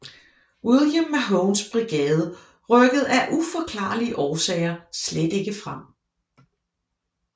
William Mahones brigade rykkede af uforklarlige årsager slet ikke frem